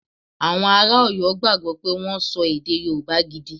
Awon ara Oyo gbagbo pe won so ede yoruba gidi.